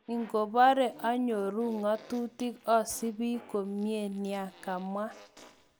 Ikobore onyoru ngotutik, osibi komie nia, kamwa.